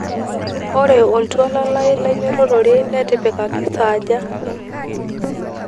ore oltuala lai lainyototore netipikaki saaja